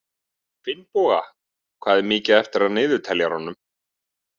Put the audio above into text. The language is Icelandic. Finnboga, hvað er mikið eftir af niðurteljaranum?